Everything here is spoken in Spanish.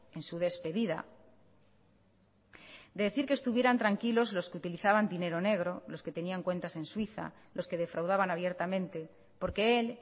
en su despedida de decir que estuvieran tranquilos los que utilizaban dinero negro los que tenían cuentas en suiza los que defraudaban abiertamente porque él